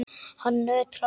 Hann nötrar.